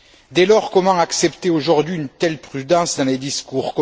Dès lors, comment accepter aujourd'hui une telle prudence dans les discours?